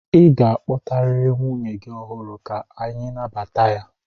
Ị ga-akpọtarịrị nwunye gị ọhụụ ka anyị nabata ya!